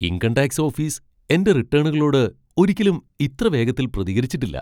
Income tax office എന്റെ റിട്ടേണുകളോട് ഒരിക്കലും ഇത്ര വേഗത്തിൽ പ്രതികരിച്ചിട്ടില്ല.